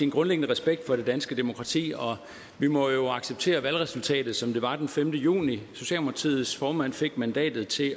grundlæggende respekt for det danske demokrati og vi må jo acceptere valgresultatet som det var den femte juni socialdemokratiets formand fik mandatet til